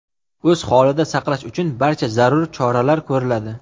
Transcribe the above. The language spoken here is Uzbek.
o‘z holida saqlash uchun barcha zarur choralar ko‘riladi.